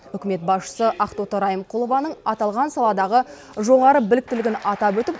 үкімет басшысы ақтоты райымқұлованың аталған саладағы жоғары біліктілігін атап өтіп